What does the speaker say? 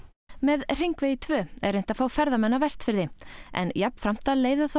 með Hringvegi tvö er reynt að fá ferðamenn á Vestfirði en jafnframt að leiða þá